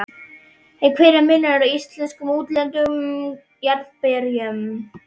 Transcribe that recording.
En hver er munurinn á íslenskum og útlendum jarðarberjum?